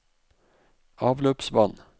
avløpsvann